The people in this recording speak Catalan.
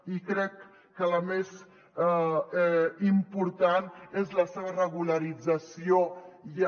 i crec que la més important és la seva regularització ja